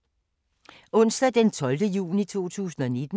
Onsdag d. 12. juni 2019